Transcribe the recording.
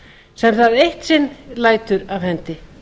sem það eitt sinn lætur af hendi